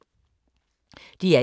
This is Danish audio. DR1